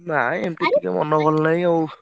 ନାଇଁ ଏମତି ମନ ଭଲ ନାହିଁ ଆଉ।